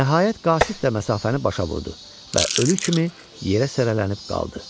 Nəhayət qasid də məsafəni başa vurdu və ölü kimi yerə sələlənib qaldı.